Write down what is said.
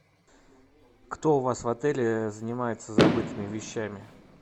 кто у вас в отеле занимается забытыми вещами